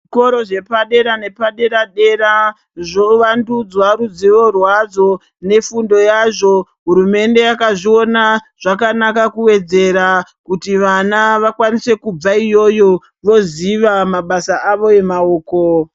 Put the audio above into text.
Zvikoro zvepadera nepadera dera zvovandudzwa ruzivo rwazvo nefundo yazvo hurumende yakazviona zvakanaka kuwedzera kuti vana vakwanise kubva iyoyo voziva mabasa avo emaoko.